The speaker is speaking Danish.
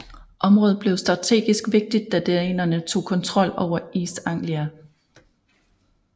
Området blev strategisk vigtigt da danerne tog kontrol over East Anglia